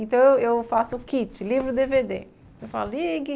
Então eu eu faço o kit, livro e dê vê dê.